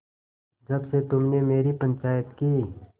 जब से तुमने मेरी पंचायत की